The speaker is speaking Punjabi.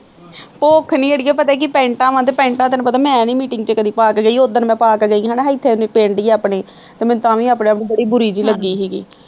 ਭੁੱਖ ਨੀ ਆੜੀਏ ਪਤਾ ਕੀ ਪੈਂਟਾਂ ਵਾਂ ਤੇ ਪੈਟਾਂ ਤੈਨੂੰ ਪਤਾ ਮੈਂ ਨੀ meeting ਤੇ ਕਦੇ ਪਾ ਕੇ ਗਈ ਉੱਦਣ ਮੈਂ ਪਾ ਕੇ ਗਈ ਹਨਾ ਇੱਥੇ ਨੀ ਪਿੰਡ ਹੀ ਆਪਣੇ ਤੇ ਮੈਨੂੰ ਤਾਂ ਵੀ ਆਪਣੇ ਆਪ ਚ ਬੜੀ ਬੁਰੀ ਜਿਹੀ ਲੱਗੀ ਸੀਗੀ